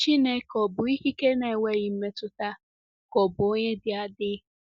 Chineke ọ̀ bụ ikike na-enweghị mmetụta ka ọ̀ bụ onye dị adị?